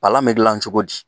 Palan mɛ gilan cogo di ?